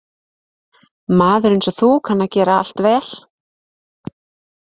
Maður einsog þú kann að gera allt vel.